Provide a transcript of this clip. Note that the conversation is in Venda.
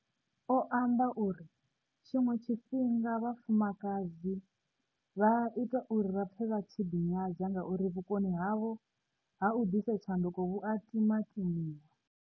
O amba uri, Tshiṅwe tshifhinga, vhafumakadzi vha a itwa uri vha pfe vha tshi ḓinyadza ngauri vhukoni havho ha u ḓisa tshanduko vhu a timatimiwa.